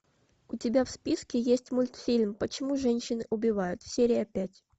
у тебя в списке есть мультфильм почему женщины убивают серия пять